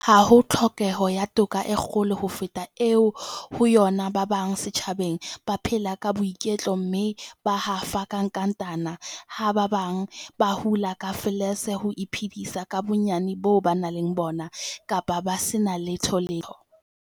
Ha ho tlhokeho ya toka e kgolo ho feta eo ho yona ba bang setjhabeng ba phelang ka boiketlo mme ba hafa ka nkatana, ha ba bang ba hula ka falese ho iphedisa ka bonyane boo ba nang le bona, kapa ba se na letholetho.